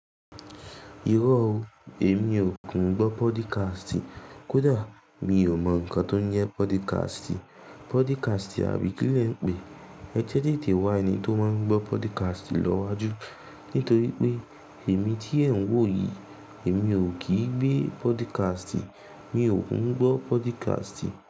Irọ́ o, èmi ò kún gbọ́ podicasti Kódà mi ò mọ̀ ǹkan tó ń yẹ podcast, podcast àbí kí ni ẹ ń pè é. Ẹ jẹ́ dé lè té wá ẹni tó máa ń gbọ́ podcast lọ́wọ́ jú nítorí pé èmi tí ẹ̀ ń wò yìí, èmi ò kì í gbé podcast, mi ò kin gbọ́ podcast.